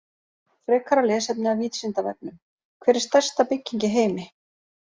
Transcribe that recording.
Frekara lesefni af Vísindavefnum: Hver er stærsta bygging í heimi?